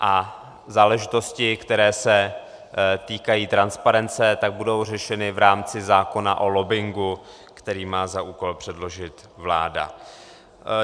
A záležitosti, které se týkají transparence, tak budou řešeny v rámci zákona o lobbingu, který má za úkol předložit vláda.